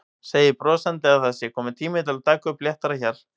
Segir brosandi að það sé kominn tími til að taka upp léttara hjal.